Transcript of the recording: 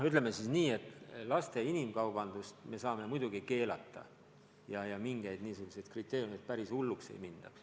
Ütleme nii, et laste inimkaubandust me saame muidugi keelata ja ka mingeid niisuguseid kriteeriume, et päris hulluks ei mindaks.